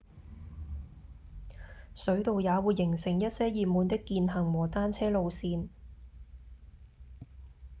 水道也會形成一些熱門的健行和單車路線